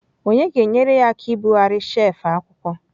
Onye ga-enyere ya aka ibugharị shelf akwụkwọ?